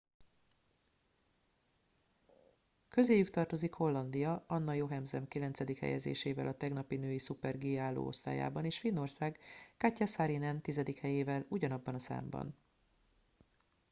közéjük tartozik hollandia anna jochemsen kilencedik helyezésével a tegnapi női szuper g álló osztályában és finnország katja saarinen tizedik helyével ugyanabban a számban